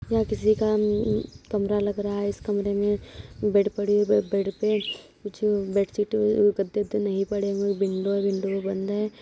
यह किसी का उम कमरा लगा रहा है। इस कमरे में बेड पड़ी हुई है। बेड पे बेडशीट गद्दे-वद्दे नहीं पड़े हुए हैं। विंडो विंडो बंद है।